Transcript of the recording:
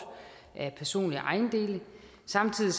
af personlige ejendele samtidig